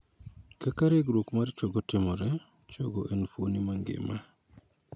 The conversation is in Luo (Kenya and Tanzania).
Kaka regruok mar chogo timore. Chogo en fuon mangima.